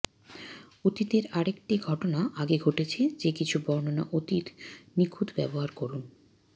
অতীতের আরেকটি ঘটনা আগে ঘটেছে যে কিছু বর্ণনা অতীত নিখুঁত ব্যবহার করুন